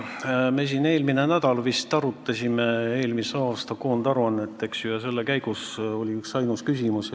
Me vist eelmine nädal arutasime siin eelmise aasta koondaruannet ja selle käigus tekkis üksainus küsimus.